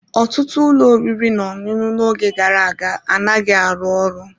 Ọtụtụ ụlọ oriri na ọṅụṅụ n'oge gara aga anaghị arụ ọrụ.